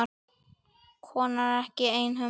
Konan er ekki einhöm.